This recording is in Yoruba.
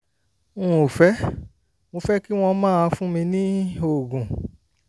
n ò fẹ́ mo fẹ́ kí wọ́n máa fún mi ní oògùn